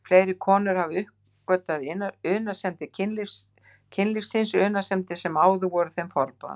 Fleiri konur hafa uppgötvað unaðssemdir kynlífsins, unaðssemdir sem áður voru þeim forboðnar.